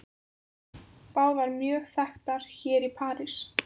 Báðar mjög þekktar hér í París.